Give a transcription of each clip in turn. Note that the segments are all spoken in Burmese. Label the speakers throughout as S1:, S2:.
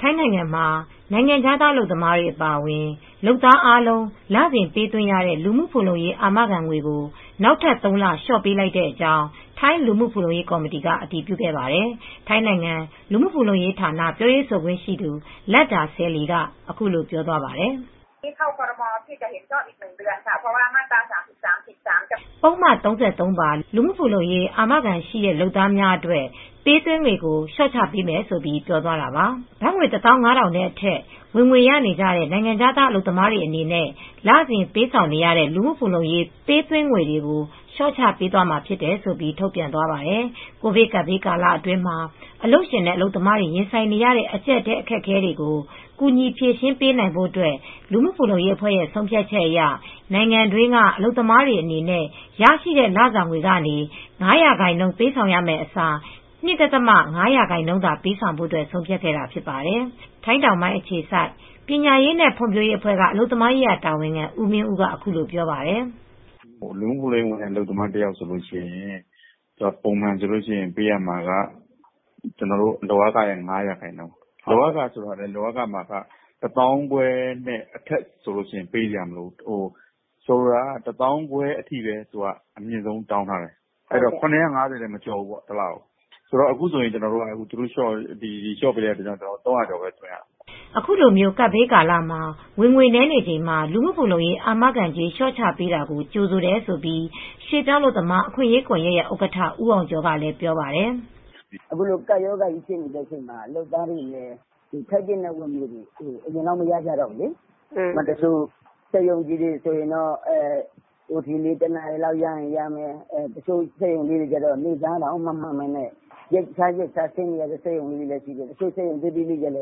S1: ထိုင်းနိုင်ငံမှာနိုင်ငံခြားသားအလုပ်သမားတွေအပါအဝင် အလုပ်သမားအားလုံး လစဉ်ပေးသွင်းရတဲ့ လူမူဖူလုံရေး အာမခံငွေကို နောက်ထပ်သုံးလလျှော့ချပေးလိုက်ကြောင်း ထိုင်းလူမှုဖူလုံရေး ကော်မတီမှ အတည်ပြုပေးခဲ့ပါတယ် ။ ထိုင်းနိင်ငံ လူမူဖူလုံရေးဌာန ပြောရေးဆိုခွင့်ရှိသူ လတ်ဒါ ဆဲလီ က အခုလိုပြောသွားပါတယ်။ "ပုဒ်မ ၃၃ ပါလူမှုဖူလုံရေး အာမခံထားရှိသူလုပ်သားများအတွက်ပေးသွင်းငွေကိုလျော့ချပေးမယ်လို့ပြောသွားတာပါ" ဘတ်ငွေတသောင်းငါးထောင်အထက် ဝင်ငွေရနေကြတဲ့ နိုင်ငံခြားသားအလုပ်သမားများအနေနဲ့လစဉ်ပေးဆောင်နေရတဲ့ လူမူဖူလုံရေး ပေးသွင်းငွေများကို လျှော့ချ ပေးမှာဖြစ်တယ်လို့ ထုတ်ပြန်သွားပါတယ်။ ကိုဗစ်ကပ်ဘေးကာလအတွင်းမှာ အလုပ်ရှင်နဲ့ အလုပ်သမားတွေရင်ဆိုင်နေရတဲ့အကြပ်အတည်း အခက်အခဲတွေကို ကူညီဖြေရှင်းပေးနိုင်ဖို့ လူမှုဖူလုံရေးအဖွဲ့ရဲ့ ဆုံးဖြတ်ချက်အရ နိုင်ငံတွင်းကအလုပ်သမားတွေအနေနဲ့ ရရှိတဲ့လစာငွေကနေ ၅ရာခိုင်နှုံးပေးဆောင်ရမယ့်အစား ၂.၅ ရာခိုင်နုံးသာပေးဆောင်ဖို ဆုံးဖြတ်ခဲ့တာဖြစ်ပါတယ် ။ ထိုင်းတောင်ပိုင်းအခြေစိုက် ပညာရေးနဲ့ ဖွံဖြိုးရေးအဖွဲ့ကအလုပ်သမားရေး တာဝန်ခံဦးမင်းဦး ကအခုလိုပြောပါတယ် ။
S2: "လူမူဖူလုံရေးဝင်တဲ့အလုပ်သမားတယောက်ဆိုရင် ပုံမှန်ဆိုပေးရမှာက လုပ်အားခရတဲ့ ၅ရာခိုင်နှုံး။ လုပ်အားခမှာက ဘတ်တသောင်းခွဲအထက်ကိုပေးစရာမလိုဘူးဆိုလိုတာက တသောင်းခွဲထိပဲ အမြင့်ဆုံးတောင်းထားတယ်။ ၇၅၀ဘတ်ထက်မကျော်ဘူးဖြတ်ရင်။အခုဆိုရင်ကျနော်တို့ ၃၀၀ကျော်ပဲပေးရမယ်အဲဒီသဘော
S1: " အခုလိုကပ်ဘေးကာလ ဝင်ငွေနည်းချိန်မှ ာ လူမူဖူလုံရေး အာမခံကြေးလျော့ချပေးတာကို ကြိုဆိုတယ်လို့ ရွေပြောင်းအလုပ်သမားအခွင့်ရေးကွန်ယက်ရဲ့ဥက္ကဌ ဦးအောင်ကျော် ကလည်းပြောပါတယ် ။
S3: "အခုလိုကပ်ရောဂါဖြစ်နေတဲ့အချိန်မှာ အလုပ်သမားတွေ ထိုက်သင့်တဲ့ဝင်ငွေ အရင်လောက်မရတော့ဘူးလေ။ သူတို့အနေနဲ့ စက်ရုံကြီးတွေအနေနဲ့အချိန်ပိုလေး တနာရီလောက်ရတာ ၊စက်ရုံလေးတွေကတော့ နေစားတောင်မမှန်ကြပဲ ရက်ခြားရက်ခြားဖွင့်နေရတဲ့ စက်ရုံလေးတွေလည်းရှိတယ်။ တချို့စက်ရုံလေးတွေကလည်းရပ်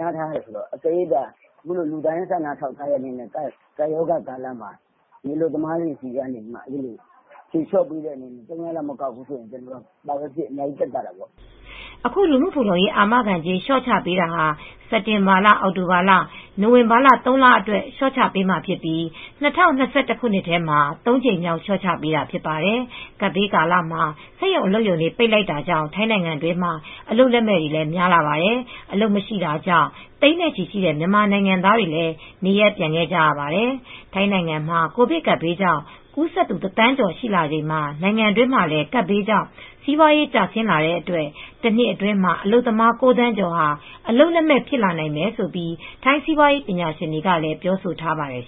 S3: နားထားရတယ်ဆိုတော့ ကပ်ရောဂါကာလမှာ လူသားချင်းစာနာပြီး ဖြေလျော့ပေးတဲ့အနေနဲ့ အလုပ်သမားတွေဆီက တဝက်လောက်မကောက်ဘူးဆိုတော့ ဘာပဲဖြစ်ဖြစ်အများကြီးသက်သာတာပေါ့ "
S1: အခုလူမူဖူလုံရေး အာမခံကြေးလျော့ချပေးတာဟာ စက်တင်ဘာ၊ အောက်တိုဘာ၊ နိုဝင်ဘာ သုံးလလျှော့ချပေးမှာဖြစ်ပြီး ၂၀၂၁ခုနှစ်ထဲမှာ ၃ကြိမ်မြောက်လျော့ချပေးတာဖြစ်ပါတယ်။ ကပ်ဘေးကာလမှာ စက်ရုံအလုပ်ရုံတွေပိတ်လိုက်တာတွေကြောင့် ထိုင်းနိုင်ငံအတွင်းမှာ အလုပ်လက်မဲ့တွေလည်းများလာပါတယ် ။ အလုပ်မရှိတာကြောင့်သိန်းနဲ့ချီရှိတဲ့မြန်မာနိုင်ငံသားတွေလည်းနေရပ်ပြန်ခဲ့ကြရပါတယ် ။ ထိုင်းနိုင်ငံမှာကိုဗစ်ကပ်ဘေးကြောင့် ကူးစက်သူ ၁သန်းကျော်ရှိလာချိန်မှာ နိုင်ငံတွင်းမှာလည်း ကပ်ဘေးကြောင့် စီပွားရေး ကျဆင်းလာတဲ့အတွက် တနှစ်အတွင်းမှာ အလုပ်သမား ၉ သန်းကျော်ဟာ အလုပ်လက်မဲ့ ဖြစ်လာနိုင်မယ်လို့ ထိုင်းစီးပွားရေးပညာရှင်တွေကလည်း ပြောဆိုထားပါတယ်